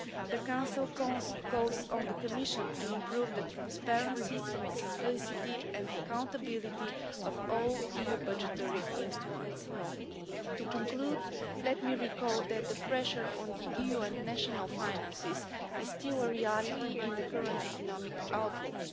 The Council calls on the Commission to improve the transparency, simplicity and accountability of all EU budgetary instruments. To conclude, let me recall that the pressure on the EU and national finances is still a reality in the current economic outlook.